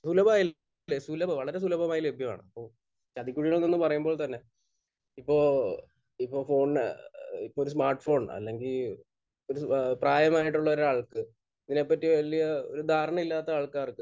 സുലഭമായിട്ടില്ലേ? സുലഭം വളരെ സുലഭമായി ലഭ്യമാണ്. ഇപ്പോൾ ചതിക്കുഴികൾ എന്ന് പറയുമ്പോൾ തന്നെ ഇപ്പോൾ...ഇപ്പോൾ ഫോണിന് ഏഹ് ഇപ്പോൾ ഒരു സ്മാർട്ഫോൺ അല്ലെങ്കിൽ ഒരു പ്രായമായിട്ടുള്ള ഒരാൾക്ക് ഇതിനെപ്പറ്റി വല്യ ഒരു ധാരണയില്ലാത്ത ആൾക്കാർക്ക്